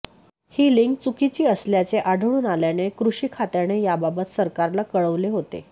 ही link चुकीची असल्याचे आढळून आल्याने कृषी खात्याने याबाबत सरकारला कळवले होते